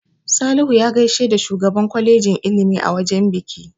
Salihu ya gaishe da shugaban kwalejin ilimi a wajen biki.